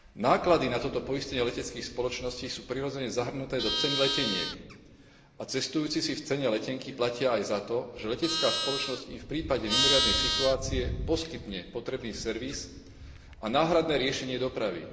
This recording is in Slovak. Náklady na toto poistenie leteckých spoločností sú, prirodzene, zahrnuté do ceny leteniek a cestujúci si v cene letenky platia aj za to, že letecká spoločnosť im v prípade mimoriadnej situácie poskytne potrebný servis a náhradné riešenie dopravy.